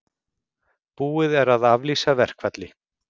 Búið er að aflýsa verkfalli